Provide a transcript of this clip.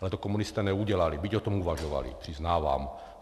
Ale to komunisté neudělali, byť o tom uvažovali, přiznávám.